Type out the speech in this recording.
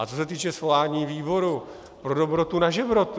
A co se týče svolání výboru, pro dobrotu na žebrotu.